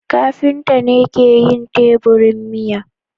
kafinta ne ke yin teburin miya.